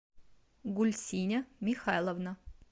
гульсиня михайловна